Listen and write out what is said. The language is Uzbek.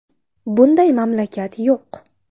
Bunday mamlakat yo‘q.